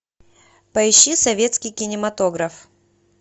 поищи советский кинематограф